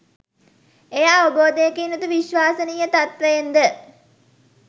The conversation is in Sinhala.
එය අවබෝධයකින් යුතු විශ්වසනීය තත්ත්වයෙන් ද